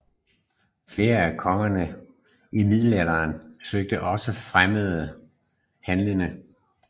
Flere af kongerne i middelalderen søgte også at fremme handelen